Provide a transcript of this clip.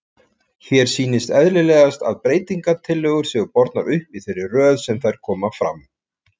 Hér sýnist eðlilegast að breytingatillögur séu bornar upp í þeirri röð sem þær koma fram.